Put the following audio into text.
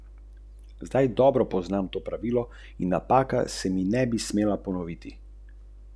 V Ringu vidijo največje prihranke predvsem v združevanju zalednih služb, torej pri računovodstvu, marketingu in prodaji.